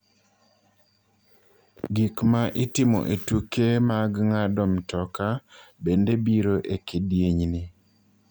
Gik ma itimo e tuke mag ng�ado mtoka bende biro e kidienyni.